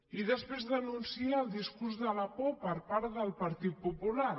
i després denuncia el discurs de la por per part del partit popular